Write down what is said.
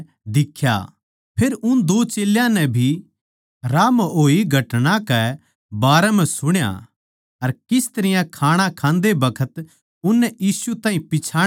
फेर उन दो चेल्यां नै भी राह म्ह होई घटना के बारें ब्यौरा सुण्या अर किस तरियां खाणा खाते बखत वे मसीह यीशु ताहीं पिच्छाणा लिया था